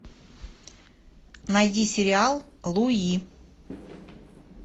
найди сериал луи